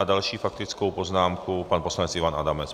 S další faktickou poznámkou pan poslanec Ivan Adamec.